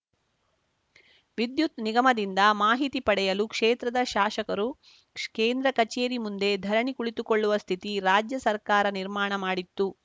ವಿದ್ಯುತ್‌ ನಿಗಮದಿಂದ ಮಾಹಿತಿ ಪಡೆಯಲು ಕ್ಷೇತ್ರದ ಶಾಶಕರು ಕೇಂದ್ರ ಕಚೇರಿ ಮುಂದೆ ಧರಣಿ ಕುಳಿತುಕೊಳ್ಳುವ ಸ್ಥಿತಿ ರಾಜ್ಯ ಸರ್ಕಾರ ನಿರ್ಮಾಣ ಮಾಡಿತ್ತು